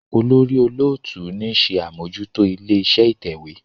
olórí olóòtú ní ṣe Amojuto ilé-iṣẹ́ ìtẹ̀wé.